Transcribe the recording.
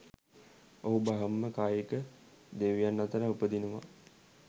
ඔහු බ්‍රහ්ම කායික දෙවියන් අතර උපදිනවා.